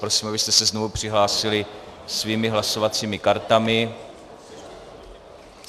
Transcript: Prosím, abyste se znovu přihlásili svými hlasovacími kartami.